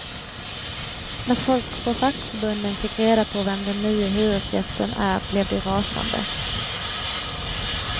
När folk på fackförbunden fick reda på vem den nye hyresgästen är blev de rasande.